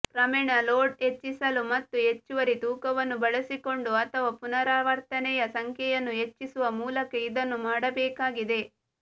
ಕ್ರಮೇಣ ಲೋಡ್ ಹೆಚ್ಚಿಸಲು ಮತ್ತು ಹೆಚ್ಚುವರಿ ತೂಕವನ್ನು ಬಳಸಿಕೊಂಡು ಅಥವಾ ಪುನರಾವರ್ತನೆಯ ಸಂಖ್ಯೆಯನ್ನು ಹೆಚ್ಚಿಸುವ ಮೂಲಕ ಇದನ್ನು ಮಾಡಬೇಕಾಗಿದೆ